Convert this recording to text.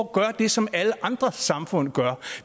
gøre det som alle andre samfund gør